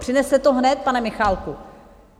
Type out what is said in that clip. Přineste to hned, pane Michálku!